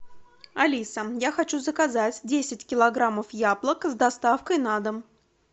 алиса я хочу заказать десять килограммов яблок с доставкой на дом